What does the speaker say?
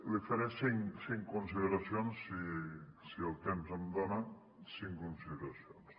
li faré cinc consideracions si el temps em dona cinc consideracions